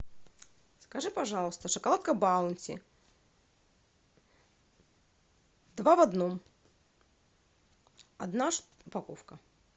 закажи пожалуйста шоколадка баунти два в одном одна упаковка